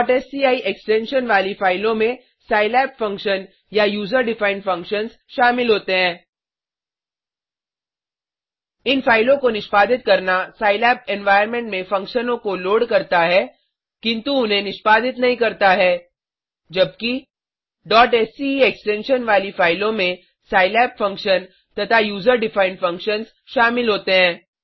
sci extension वाली फाइलों में सिलाब फंक्शन या यूजर डिफाइंड फंक्शन्स शामिल होते हैं इन फाइलों को निष्पादित करना सिलाब एनवायर्नमेंट में फंक्शनों को लोड करता है किन्तु उन्हें निष्पादित नहीं करता है जबकि sce एक्सटेंशन वाली फाइलों में सिलाब फंक्शन तथा यूजर डिफाइंड फंक्शन्स शामिल होते हैं